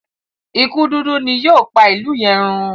ikú dúdú ni yóò pá ilú yen rún.